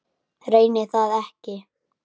Reyni það ekki.